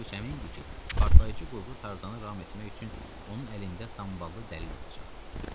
Pavloviç əmin idi ki, partlayıcı qurğu Tarzanı ram etmək üçün onun əlində samballı dəlil olacaq.